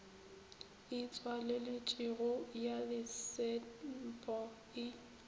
e tswaleletšwego ya letsenpo e